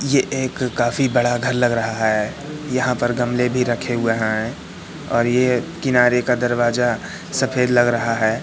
ये एक काफी बड़ा घर लग रहा है यहां पर गमले भी रखे हुए हैं और ये किनारे का दरवाजा सफेद लग रहा है।